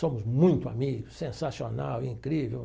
Somos muito amigos, sensacional, incrível.